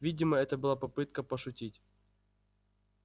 видимо это была попытка пошутить